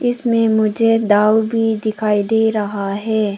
इसमें मुझे दारु भी दिखाई दे रहा है।